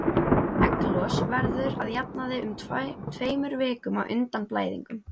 Egglos verður að jafnaði um tveimur vikum á undan blæðingum.